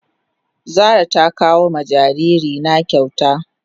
Zara ta kawo ma jariri na kyauta.